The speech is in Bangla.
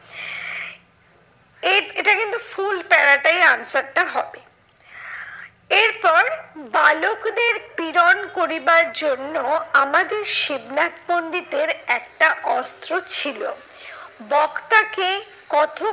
এই এটা কিন্তু full para টাই answer টা হবে। এরপর বালকদের পীড়ন করিবার জন্য আমাদের শিবনাথ পন্ডিতের একটা অস্ত্র ছিল। বক্তা কে কথক